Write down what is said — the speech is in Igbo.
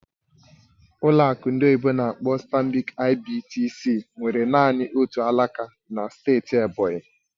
Ụlọ akụ ndị oyibo n'akpọ "Stanbic IBTC" nwere naanị otu alaka na steeti Ebonyi